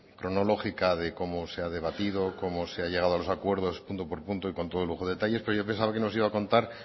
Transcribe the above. cronológica de cómo se ha debatido cómo se ha llegado a los acuerdos punto por punto con todo lujo de detalles pero yo pensaba que nos iba a contar